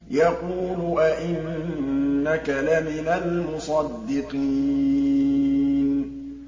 يَقُولُ أَإِنَّكَ لَمِنَ الْمُصَدِّقِينَ